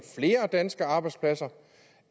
flere danske arbejdspladser